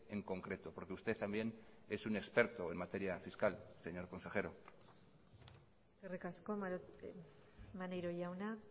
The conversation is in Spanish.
en concreto porque usted también es un experto en materia fiscal señor consejero eskerrik asko maneiro jauna